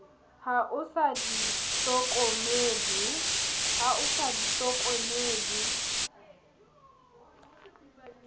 ha o sa di hlokomele